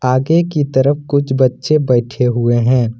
आगे की तरफ कुछ बच्चे बैठे हुए हैं।